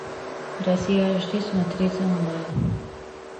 россия аш ди смотреть онлайн